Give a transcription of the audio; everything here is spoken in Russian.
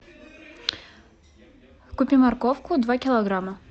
купи морковку два килограмма